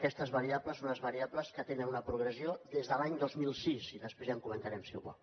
aquestes variables són unes variables que tenen una progressió des de l’any dos mil sis i després ja ho comentarem si ho vol